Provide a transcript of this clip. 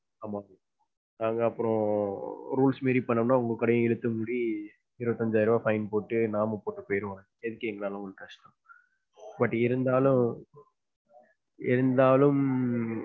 ஆமா. நாங்க அப்பறம் rules மீறி பண்ணோம்னா உங்க கடையும் இழுத்து மூடி, இருபத்து அஞ்சாயிரம் ரூபாய் fine போட்டு நாமம் போட்டு போயிருவாங்க. எதுக்கு எங்கனால உங்களுக்கு கஷ்டம் but இருந்தாலும் இருந்தாலும்,